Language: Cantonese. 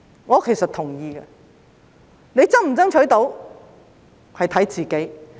我是同意的，能否成功爭取，要看自己。